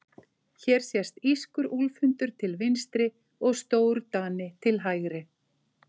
Hér sést írskur úlfhundur til vinstri og stórdani til hægri.